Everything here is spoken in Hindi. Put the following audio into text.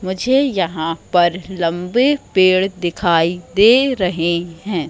मुझे यहां पर लंबे पेड़ दिखाई दे रहें हैं।